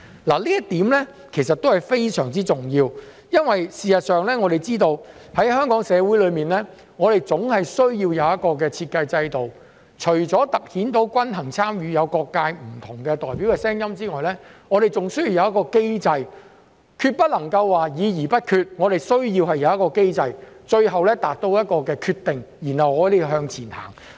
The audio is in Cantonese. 這一點其實非常重要，因為事實上，我們知道香港社會總是需要有一個設計制度，除突顯均衡參與，有各界不同代表的聲音外，我們還需要有一個機制，不能夠議而不決，我們需要一個機制最後達到決定，然後向前行。